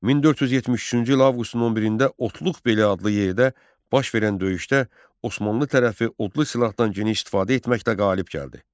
1473-cü il avqustun 11-də Otluqbeli adlı yerdə baş verən döyüşdə Osmanlı tərəfi odlu silahdan geniş istifadə etməklə qalib gəldi.